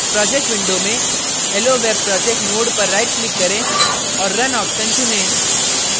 projects window में helloweb projects node पर right click करें और run option चुनें